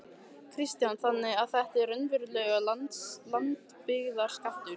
Kristján: Þannig að þetta er raunverulegur landsbyggðarskattur?